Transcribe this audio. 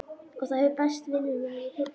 Og það hefur bæst vinnumaður í heyskapinn.